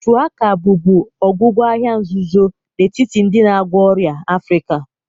Shuwaka bụbu ọgwụgwọ ahịhịa nzuzo n'etiti ndị na-agwọ ọrịa Africa.